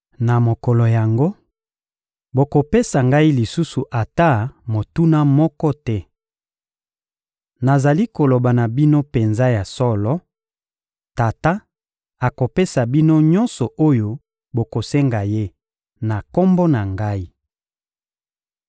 Na mokolo yango, bokopesa Ngai lisusu ata motuna moko te. Nazali koloba na bino penza ya solo: Tata akopesa bino nyonso oyo bokosenga Ye na Kombo na Ngai.